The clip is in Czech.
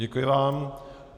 Děkuji vám.